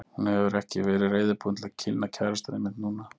Hún hefur ekki verið reiðubúin til að kynna kærastann einmitt núna.